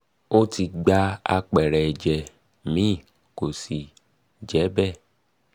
ó um ti gba àpẹẹrẹ ẹ̀jẹ̀ mi kò sì je be